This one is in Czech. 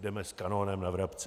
Jdeme s kanonem na vrabce.